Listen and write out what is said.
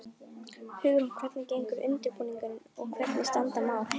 Hugrún, hvernig gengur undirbúningur og hvernig standa mál?